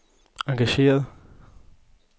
engageret